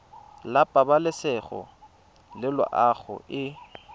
la pabalesego le loago e